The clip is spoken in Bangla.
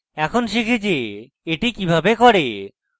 এখন শিখি যে এটি কিভাবে করে